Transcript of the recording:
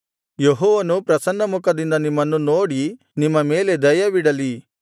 ಯೆಹೋವನು ಪ್ರಸನ್ನಮುಖದಿಂದ ನಿಮ್ಮನ್ನು ನೋಡಿ ನಿಮ್ಮ ಮೇಲೆ ದಯವಿಡಲಿ